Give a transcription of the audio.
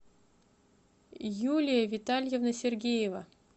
юлия витальевна сергеева